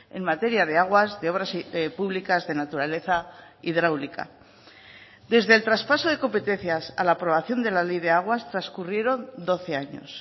en materia de aguas de obras públicas de naturaleza hidráulica desde el traspaso de competencias a la aprobación de la ley de aguas transcurrieron doce años